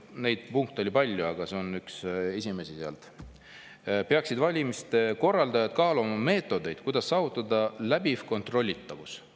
Neid punkte oli palju, aga see on üks esimesi sealt, et valimiste korraldajad peaksid kaaluma meetodeid, kuidas saavutada läbiv kontrollitavus.